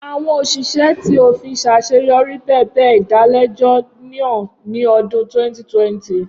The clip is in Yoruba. Awọn oṣiṣẹ ti ofin ṣaṣeyọri bẹbẹ idalẹjọ naa ni ọdun 2020.